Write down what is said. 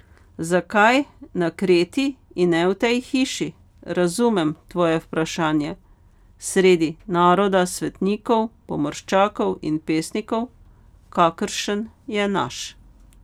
Zakaj na Kreti in ne v tej hiši, razumem tvoje vprašanje, sredi naroda svetnikov, pomorščakov in pesnikov, kakršen je naš ...